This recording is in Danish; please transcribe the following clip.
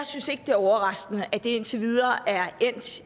synes det er overraskende at det indtil videre er endt